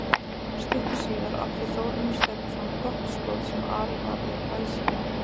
Stuttu síðar átti Þórarinn Stefánsson gott skot sem Ari varði glæsilega.